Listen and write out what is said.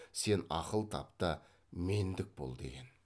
сен ақыл тап та мендік бол деген